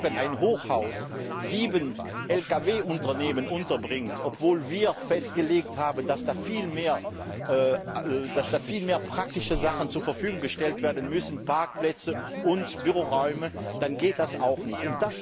Und wenn morgen ein Hochhaus sieben Lkw Unternehmen unterbringt, obwohl wir festgelegt haben, dass da viel mehr praktische Dinge zur Verfügung gestellt werden müssen Parkplätze und Büroräume dann geht das auch nicht.